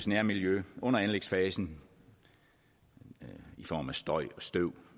nærmiljø under anlægsfasen i form af støj støv